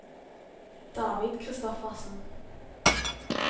David Christoffersen